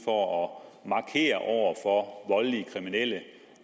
for at markere over for voldelige kriminelle